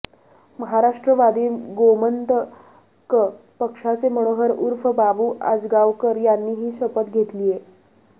महाराष्ट्रवादी गोमंतक पक्षाचे मनोहर उर्फ बाबू आजगावकर यांनीही शपथ घेतलीय